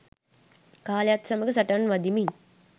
කාලයත් සමඟ සටන් වදිමින්